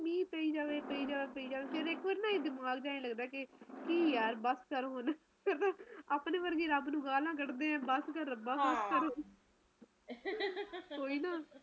ਮੀਹ ਪਈ ਜਾਵੇ ਪਈ ਜਾਵੇ ਫਿਰ ਇੱਕਦਮ ਇੱਦਾ ਲੱਗਦਾ ਕੇ ਕੀ ਯਾਰ ਬਸ ਕਰ ਹੁਣ ਆਪਣੇ ਵਰਗੇ ਰਬ ਨੂੰ ਗੱਲਾਂ ਕੱਢਦੇ ਆ ਕੀ ਬਸ ਕਰ ਰੱਬਾ ਕੋਈ ਨਾ